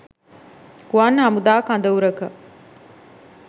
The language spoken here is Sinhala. ගුවන් හමුදා කඳවුරක